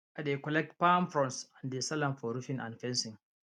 i dey collect palm fronds and dey sell am for roofing and fencing